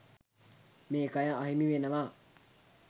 මේ කය අහිමි වෙනවා.